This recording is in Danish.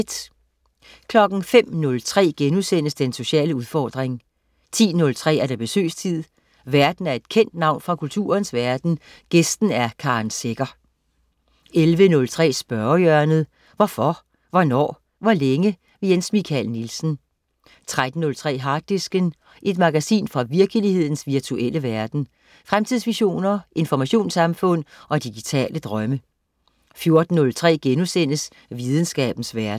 05.03 Den sociale udfordring* 10.03 Besøgstid. Værten er et kendt navn fra kulturens verden, gæsten er Karen Secher 11.03 Spørgehjørnet. Hvorfor, hvornår, hvor længe? Jens Michael Nielsen 13.03 Harddisken. Et magasin fra virkelighedens virtuelle verden. Fremtidsvisioner, informationssamfund og digitale drømme 14.03 Videnskabens verden*